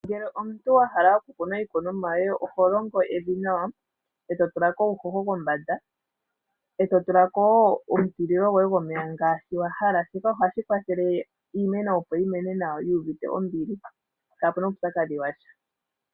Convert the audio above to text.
Ngele omuntu wa hala okukuna iikunomwa yoye, oho longo evi nawa eto tula ko uuhoho kombanda, eto tula ko wo omeya ngaashi wa hala. shika ohashi kwathele iimeno opo yi koke nawa yui uvite ombili kaapuna uupyakadhi washa.